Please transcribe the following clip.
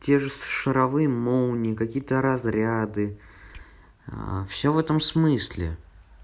те же шаровые молнии какие-то разряды всё в этом смысле